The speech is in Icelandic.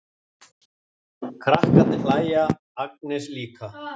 Krakkarnir hlæja, Agnes líka.